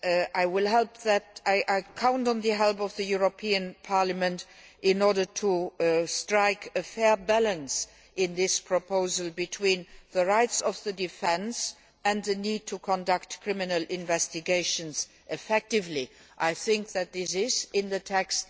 I am counting on the help of the European Parliament in order to strike a fair balance in this proposal between the rights of the defence and the need to conduct criminal investigations effectively. I think that this is in the text.